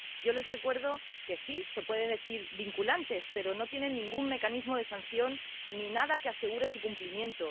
Yo les recuerdo que sí, que se les puede llamar vinculantes, pero no tienen ningún mecanismo de sanción ni nada que asegure su cumplimiento.